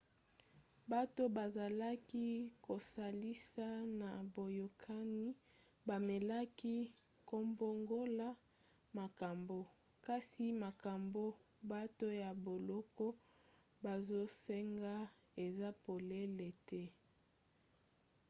bato bazalaki kosalisa na boyokani bamekaki kobongola makambo kasi makambo bato ya boloko bazosenga eza polele te